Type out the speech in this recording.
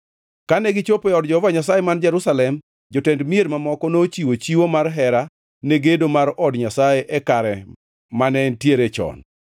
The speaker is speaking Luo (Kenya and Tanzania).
Kane gichopo e od Jehova Nyasaye man Jerusalem, jotend mier mamoko nochiwo chiwo mar hera ne gedo mar od Nyasaye e kare mane entiere chon.